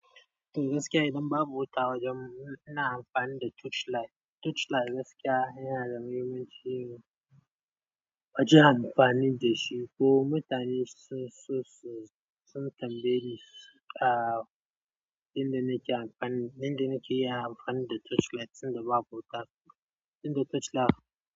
To gaskiya idan babu wuta wajan mu, ina amfani da torchlight. Torchlight gaskiya yana da muhimmanci. Wajan amfani da shi ko mutane su, su, su, sun tambaye ni, ah, in da nake amfani, in da nake yin amfani da torchlight idan babu wuta. In da torchlight.